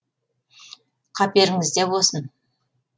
қаперіңізде болсын